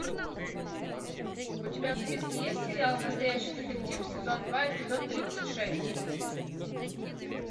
у тебя в списке есть сериал настоящий детектив сезон два эпизод тридцать шесть